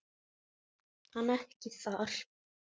Hann ekki þar.